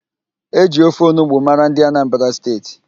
E ji ofe onugbo mara ndị Anambra State